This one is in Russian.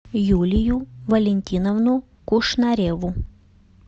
юлию валентиновну кушнареву